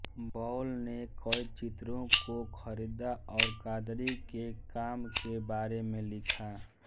ball ने कई चित्रों को खरीदा और कादरी के काम के बारे में लिखा